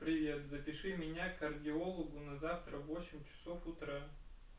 привет запиши меня к кардиологу на завтра в восемь часов утра